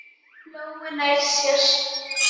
Lóu nærri sér.